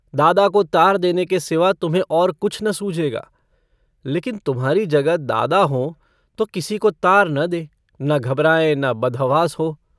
दादा को तार देने के सिवा तुम्हें और कुछ न सूझेगा। लेकिन तुम्हारी जगह दादा हों तो किसी को तार न दें, न घबराएँ, न बदहवास हो।